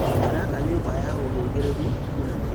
Araka nyũmba na ũhĩgĩrĩru mũnene